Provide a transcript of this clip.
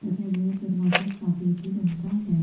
तथा यह दरवाजा चॉकलेट रंग का है।